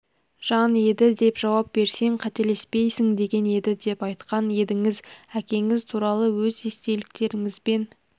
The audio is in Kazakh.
жан еді деп жауап берсең қателеспейсің деген еді деп айтқан едіңіз әкеңіз туралы өз естеліктеріңізбен